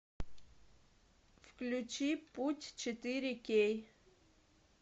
включи путь четыре кей